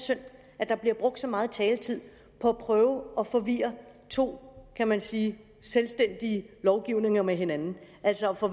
synd at der bliver brugt så meget taletid på at prøve at forvirre to kan man sige selvstændige lovgivninger med hinanden altså at få